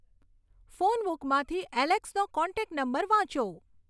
phone બુકમાંથી એલેક્સનો contact number વાંચો